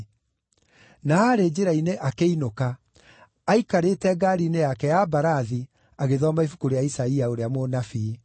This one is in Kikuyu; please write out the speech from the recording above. na arĩ njĩra-inĩ akĩinũka, aaikarĩte ngaari-inĩ yake ya mbarathi agĩthoma ibuku rĩa Isaia ũrĩa mũnabii.